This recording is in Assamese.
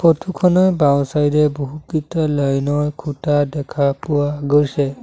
ফটো খনৰ বাওঁ চাইড এ বহুকিটা লাইন ৰ খুঁটা দেখা পোৱা গৈছে।